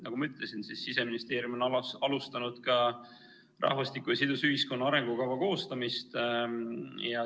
Nagu ma ütlesin, Siseministeerium on alustanud ka rahvastiku ja sidusa ühiskonna arengukava koostamist.